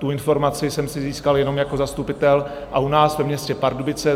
Tu informaci jsem si získal jenom jako zastupitel a u nás ve městě Pardubice.